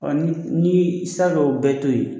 n'i n'i sera ko bɛɛ to yen